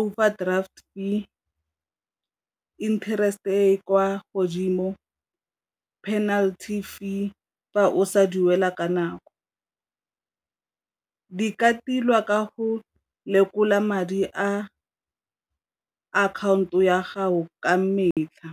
overdraft fee, interest e kwa godimo, penaty fee fa o sa duela ka nako. Di ka tilwa ka go lekola madi a akhaonto ya gago ka metlha.